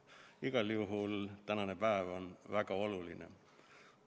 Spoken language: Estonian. Igal juhul on tänane päev väga oluline.